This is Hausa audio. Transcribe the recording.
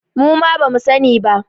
Muma bamu sani ba